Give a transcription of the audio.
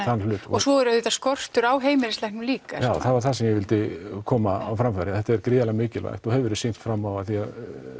hluta og svo er auðvitað skortur á heimilislæknum líka já það var það sem ég vildi koma á framfæri þetta er gríðarlega mikilvægt og hefur verið sýnt fram á af því að